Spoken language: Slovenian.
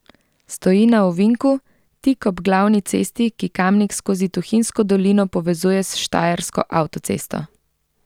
Stoji na ovinku tik ob glavni cesti, ki Kamnik skozi Tuhinjsko dolino povezuje s štajersko avtocesto.